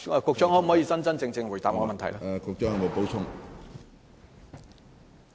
局長可否真真正正回答我的質詢呢？